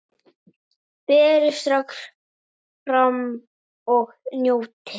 Berið strax fram og njótið!